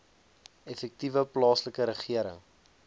effektiewe plaaslike regering